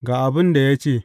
Ga abin da ya ce.